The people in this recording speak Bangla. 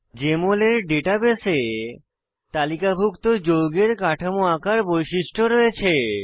জেএমএল এর ডাটাবেসে তালিকাভুক্ত যৌগের কাঠামো আঁকার বৈশিষ্ট্য রয়েছে